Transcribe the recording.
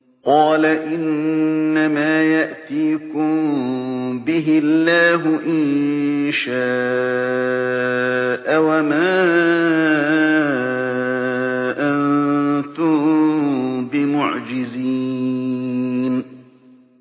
قَالَ إِنَّمَا يَأْتِيكُم بِهِ اللَّهُ إِن شَاءَ وَمَا أَنتُم بِمُعْجِزِينَ